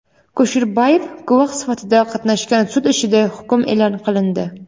Kusherbayev guvoh sifatida qatnashgan sud ishida hukm e’lon qilindi.